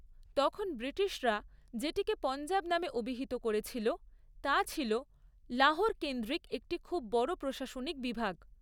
তখন ব্রিটিশরা যেটিকে পঞ্জাব নামে অভিহিত করেছিল তা ছিল লাহোর কেন্দ্রিক একটি খুব বড় প্রশাসনিক বিভাগ।